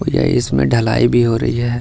और यह इसमें ढलाई भी हो रही है।